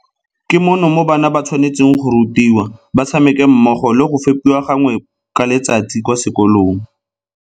Ke mono mo bana ba tshwane tseng go rutiwa, ba tshameke mmogo le go fepiwa gangwe ka letsatsi kwa sekolong.